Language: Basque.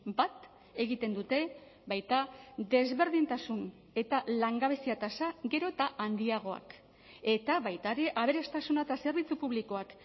bat egiten dute baita desberdintasun eta langabezia tasa gero eta handiagoak eta baita ere aberastasuna eta zerbitzu publikoak